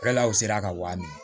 u sera ka wari minɛ